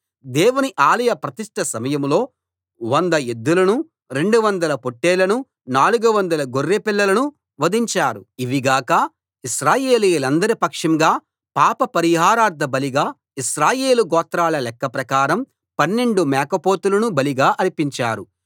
దేవుని ఆలయ ప్రతిష్ఠ సమయంలో 100 ఎద్దులను 200 పొట్టేళ్ళను 400 గొర్రె పిల్లలను వధించారు ఇవిగాక ఇశ్రాయేలీయులందరి పక్షంగా పాపపరిహారార్థ బలిగా ఇశ్రాయేలు గోత్రాల లెక్క ప్రకారం 12 మేకపోతులను బలిగా అర్పించారు